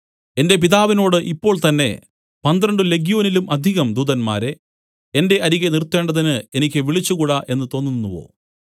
എന്റെ പിതാവിനോട് ഇപ്പോൾ തന്നേ പന്ത്രണ്ട് ലെഗ്യോനിലും അധികം ദൂതന്മാരെ എന്റെ അരികെ നിർത്തേണ്ടതിന് എനിക്ക് വിളിച്ചുകൂടാ എന്നു തോന്നുന്നുവോ